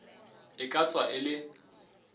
e ka tswa e le